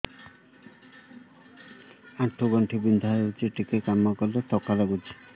ଆଣ୍ଠୁ ଗଣ୍ଠି ବିନ୍ଧା ହେଉଛି ଟିକେ କାମ କଲେ ଥକ୍କା ଲାଗୁଚି